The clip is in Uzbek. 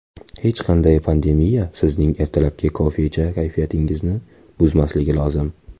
Hech qanday pandemiya sizning ertalabki kofecha kayfiyatingizni buzmasligi lozim.